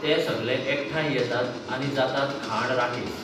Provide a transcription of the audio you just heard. ते सगले एकठांय येतातआनी जातातखाण राकेस!